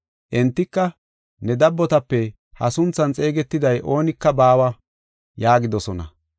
Entika, “Ne dabbotape ha sunthan xeegetiday oonika baawa” yaagidosona.